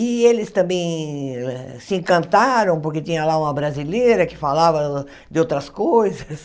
E eles também se encantaram, porque tinha lá uma brasileira que falava de outras coisas.